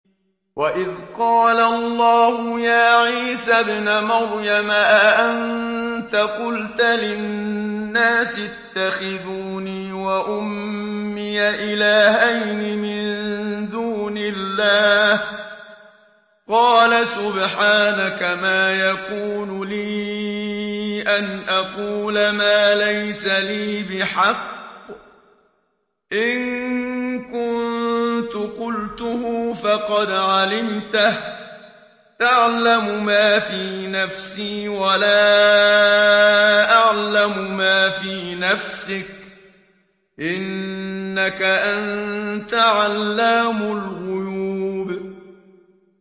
وَإِذْ قَالَ اللَّهُ يَا عِيسَى ابْنَ مَرْيَمَ أَأَنتَ قُلْتَ لِلنَّاسِ اتَّخِذُونِي وَأُمِّيَ إِلَٰهَيْنِ مِن دُونِ اللَّهِ ۖ قَالَ سُبْحَانَكَ مَا يَكُونُ لِي أَنْ أَقُولَ مَا لَيْسَ لِي بِحَقٍّ ۚ إِن كُنتُ قُلْتُهُ فَقَدْ عَلِمْتَهُ ۚ تَعْلَمُ مَا فِي نَفْسِي وَلَا أَعْلَمُ مَا فِي نَفْسِكَ ۚ إِنَّكَ أَنتَ عَلَّامُ الْغُيُوبِ